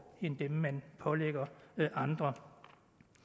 end dem man pålægger andre